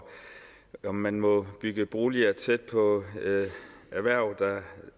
om man må bygge boliger tæt på erhverv der